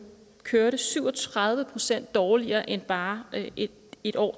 kørte syv og tredive procent dårligere end bare et et år